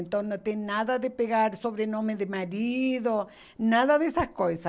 Então não tem nada de pegar sobrenome de marido, nada dessas coisas.